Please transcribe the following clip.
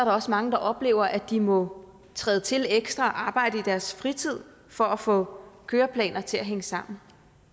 også mange der oplever at de må træde til ekstra og arbejde i deres fritid for at få køreplaner til at hænge sammen